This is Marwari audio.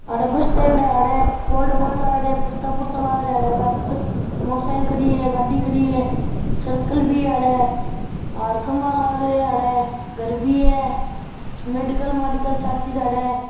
अठे बस स्टैंड है अठे लाग रिया पर्चा पुरचा लाग रिया अठे बस मोटरसाइकिल खड़ी है गाड़ी खड़ी है सर्कल भी है अठे हेर खम्बा लाग रिया अठे घर भी है मेडिकल माडिकल सारी चीजा अठे।